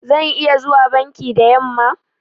Zan iya zuwa banki da yamma?